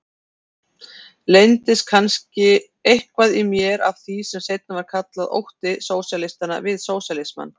Leyndist eitthvað í mér kannski af því sem seinna var kallað ótti sósíalistanna við sósíalismann?